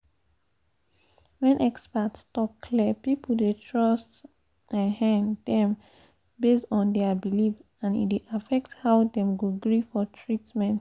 when experts talk clear people dey trust um dem based on their belief and e dey affect how dem go gree for treatment.